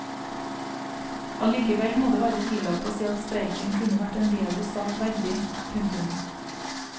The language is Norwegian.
Allikevel må det være tillatt å si at streiken kunne vært en bedre sak verdig. punktum